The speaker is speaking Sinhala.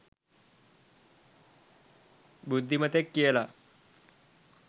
බුද්ධිමතෙක් කියලා.